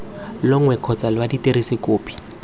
longwe kgotsa lwa dirisa kopi